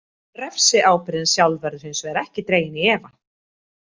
Refsiábyrgðin sjálf verður hins vegar ekki dregin í efa.